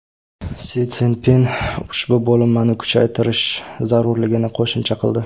Si Szinpin ushbu bo‘linmani kuchaytirish zarurligini qo‘shimcha qildi.